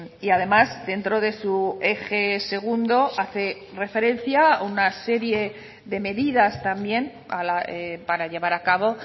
y además dentro de su eje segundo hace referencia una serie de medidas también para llevar a cabo